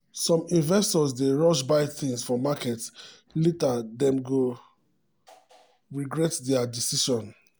some investors dey rush buy things for market later dem go regret their decision.